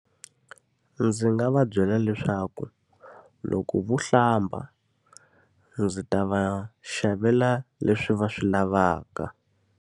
Ndzi nga va byela leswaku loko vo hlamba, ndzi ta va xavela leswi va swi lavaka.